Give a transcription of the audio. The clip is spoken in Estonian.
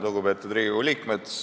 Lugupeetud Riigikogu liikmed!